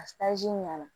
A ɲ'an na